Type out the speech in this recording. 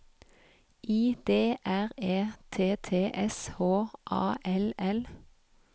I D R E T T S H A L L